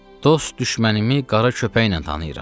Dost-düşmənimı qara köpəklə tanıyıram.